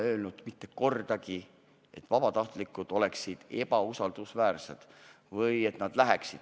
Ma ei ole mitte kordagi öelnud, et vabatahtlikud oleksid ebausaldusväärsed.